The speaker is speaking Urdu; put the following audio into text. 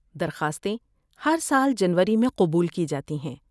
درخواستیں ہر سال جنوری میں قبول کی جاتی ہیں۔